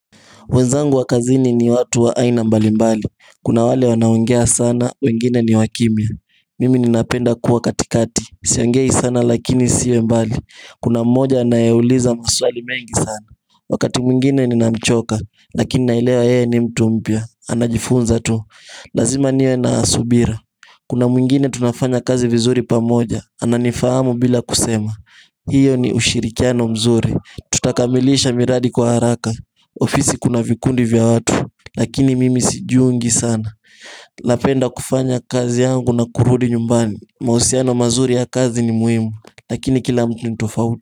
Wenzangu wa kazini ni watu wa aina mbali mbali, kuna wale wanaongea sana, wengine ni wakimya Mimi ninapenda kuwa katikati, siongei sana lakini siwe mbali, kuna mmoja anayeuliza maswali mengi sana, wakati mwingine ninamchoka, lakini nailewa yeye ni mtu mpya, anajifunza tu, lazima niwe na subira Kuna mwingine tunafanya kazi vizuri pamoja, ananifahamu bila kusema Iyo ni ushirikiano mzuri, tutakamilisha miradi kwa haraka ofisi kuna vikundi vya watu, lakini mimi sijiungi sana napenda kufanya kazi yangu na kurudi nyumbani, mahusiano mazuri ya kazi ni muhimu, lakini kila mtu nitofauti.